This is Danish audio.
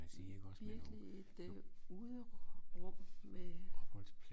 Virkeligt et øh uderum med